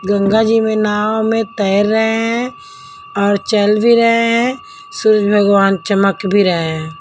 गंगा जी में नाव में तैर रहे हैं और चल भी रहे हैं सूरज भगवान चमक भी रहे हैं।